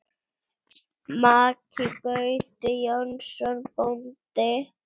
Maki Gauti Jónsson bóndi.